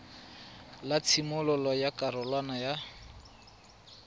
la tshimololo ya karolwana ya